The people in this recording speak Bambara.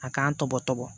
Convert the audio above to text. A k'an tɔbɔ tɔbɔ